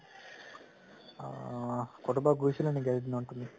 আ কতোবাত গৈছিলা নেকি আজি দিনত তুমি?